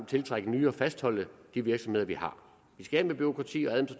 tiltrække nye og fastholde de virksomheder vi har vi skal af med bureaukrati og